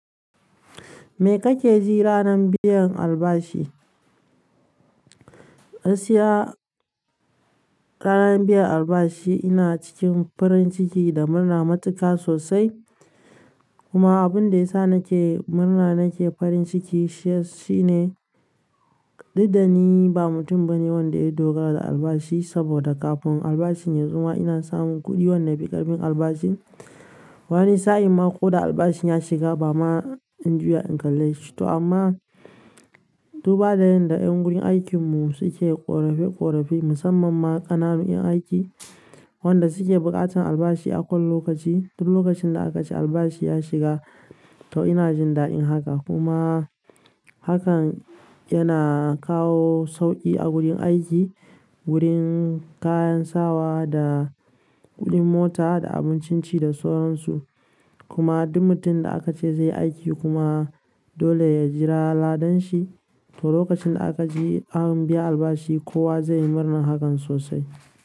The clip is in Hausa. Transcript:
Me kake ji ranar biyan albashi? Gaskiya ranan biyan albashi ina cikin farin ciki da murna matuƙa sosai. Kuma abun da ya sa nake murna nake farin ciki shine, dudda ni ba mutum bane wanda ya dogara da albashi saboda ƙafin albashin yazo ma ina samun kuɗi wanda yafu ƙarfin albashin. Wani sa'inma ko da albashin ya shiga, bama in juya in kalle shi to amma, dubba da yadda 'yan gurin aikin mu suke ƙorafi ƙorafi musamman ma ƙananun 'yan aiki, wanda suke buƙatan albashi a kowane lokaci. Duk lokacin da aka ce albashi ya shiga, to ina jin da'in haka. Kuma hakan yana kawo sauƙi a gurin aiki, wurin kayan sawa da kuɗin mota da abincin ci da sauransu. Kuma duk mutum da aka ce zai yi aiki kuma dole ya jira ladan shi to lokacin da aka ji an biya albashi kowa zai yi murnan hakan sosai.